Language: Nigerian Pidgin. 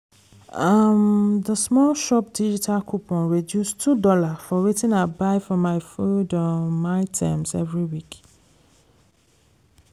um d small shop digital coupon reduce $2 for wetin i buy for my food um items every week